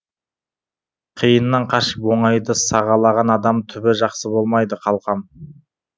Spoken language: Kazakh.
қиыннан қашып оңайды сағалаған адам түбі жақсы болмайды қалқам